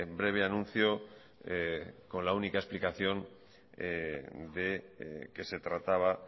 breve anuncio con la única explicación de que se trataba